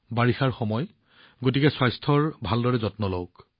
বৰষুণৰ বতৰ গতিকে স্বাস্থ্যৰ ভালদৰে যত্ন লওক